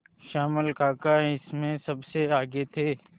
श्यामल काका इसमें सबसे आगे थे